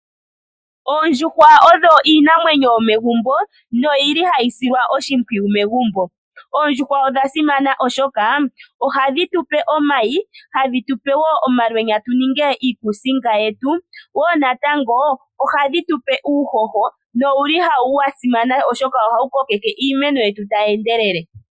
Oondjuhwa odho iinamwenyo yomegumbo no yili hayi silwa oshimpwiyu megumbo. Oondjuhwa odha simana oshoka ohadhi tupe omayi, hadhi tupe wo omalwenya tu ninge iikusinga yetu. Wo natango ohadhi tupe uuhoho nowuli wa simana oshoka ohawu kokeke iimeno yetu tayi endelele.